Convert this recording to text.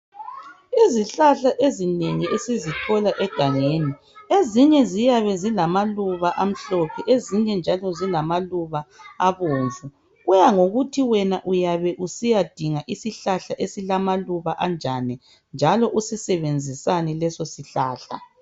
Izihlahla ezinengi esizithola egangeni ezinye ziyabe zilamaluba amhlophe ezinye njalo zilamaluba abomvu kuyabe kusiya ngokuthi wena usiya dinga isihlahla esilama luba anjani njalo usisebenzisani leso sihlahla.